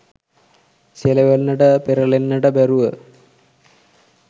සෙලවෙන්නට පෙරළෙන්නට බැරුව